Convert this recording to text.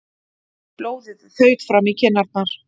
Blóðið þaut fram í kinnarnar.